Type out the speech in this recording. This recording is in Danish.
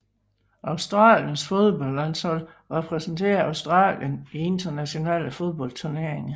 Australiens fodboldlandshold repræsenterer Australien i internationale fodboldturneringer